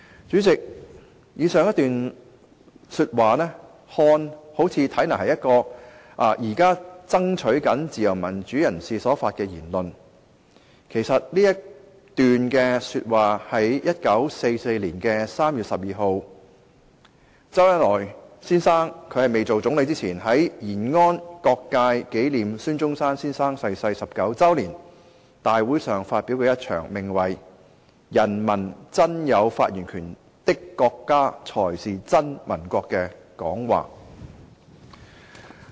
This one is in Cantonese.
"主席，以上一段話看來好像是現時爭取自由民主的人士所發表的言論，但其實這是周恩來先生擔任總理之前，在1944年3月12日延安各界紀念孫中山先生逝世19周年大會上發表，名為"人民真有發言權的國家才是真民國"的演辭。